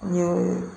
N ye